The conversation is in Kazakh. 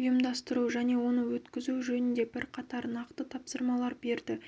ұйымдастыру және оны өткізу жөнінде бірқатар нақты тапсырмалар берді